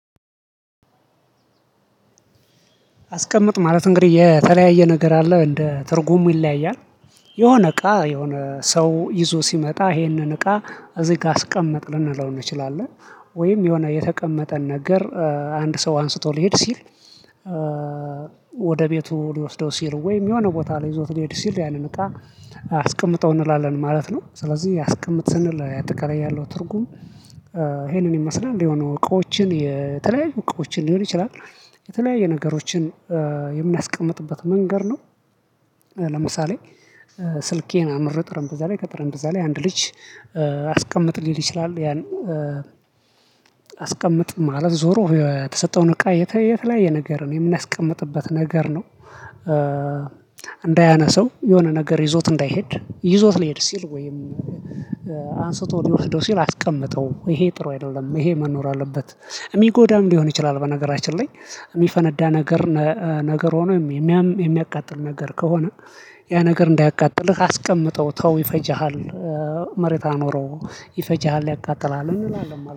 አስቀምጥ ማለት እንግዲህ የተለያየ ነገር አለ እንደ ትርጉሙ ይለያያል። የሆነ እቃ የሆነ ሰው ይዞ ሲመጣ ይሄንን እቃ እዚህ ጋር አስቀመጥ ልንለው እንችላለን። ወይም የሆነ የተቀመጠን ነገር አንድ ሰው አንስቶ ሊሄድ ሲል። ወደ ቤቱ ሊወስደው ሲል ወይም የሆነ ቦታ ላይ ይዞት ሊሄድ ሲል ያንን እቃ አስቀምጠው እንላለን ማለት ነው። ስለዚህ የአስቀምጥ ሰንል አጠቃላይ ያለው ትርጉም ይሄንን ይመስላል እንዲያው የሆኑ እቃዎችን የተለያዩ እቃዎችን ሊሆን ይችላል። የተለያየ ነገሮችን የምናስቀምጥበት መንገድ ነው። ለምሳሌ ስልኬን አኑሬ ጠረምጴዛ ላይ ከጠርምጴዛ ላይ አንድ ልጅ። አስቀምጥ ሊል ይችላል ያን። አስቀምጥ ማለት ዞሮ የተሰጠውን እቃ የተለያየ ነገር ነው የምናስቀምጥበት ነገር ነው። እንዳያነሳው የሆነ ነገር ይዞት እንዳይሄድ ይዞት ልሄድ ሲል ወይም አንስቶ ሊወስደው ሲል አስቀምጠው ይሄ ጥሩ አይደለም ይሄ መኖር አለበት። የሚጎዳም ሊሆን ይችላል። በነገራችን ላይ የሚፈነዳ ነገር። ነገር ሆኖ። የሚያቃጥል ነገር ከሆነ። ያ ነገር እንዳያቃጥልህ አስቀምጠው ተው ይፈጀሃል። መሬት አኖረው ይፈጀሃል ያቃጥላል እንላለን